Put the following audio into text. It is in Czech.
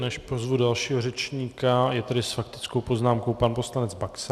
Než pozvu dalšího řečníka, je tady s faktickou poznámkou pan poslanec Baxa.